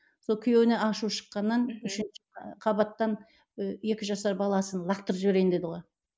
сол күйеуіне ашу шыққаннан үшінші қабаттан і екі жасар баласын лақтырып жіберейін деді ғой